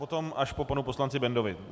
Potom až po panu poslanci Bendovi.